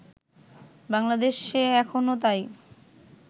বাংলাদেশে এখন তাই